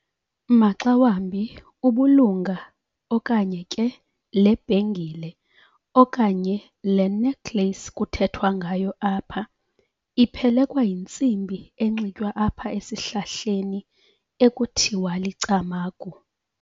Maxa wambi ubulunga okanye ke lebhengile okanye le necklace kuthethwa ngayo apha iphelekwa yintsimbi enxitywa apha esihlahleni ekuthiwa licamagu.